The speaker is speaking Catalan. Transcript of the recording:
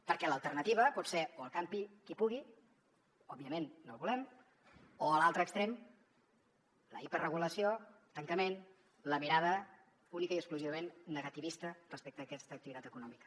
perquè l’alternativa pot ser o el campi qui pugui òbviament no ho volem o a l’altre extrem la hiperregulació tancament la mirada únicament i exclusivament negativista respecte a aquesta activitat econòmica